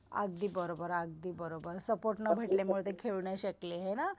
अगदी बरोबर अगदी बरोबर सपोर्ट न भेटल्यामुळं ते खेळू नाही शकले हे ना.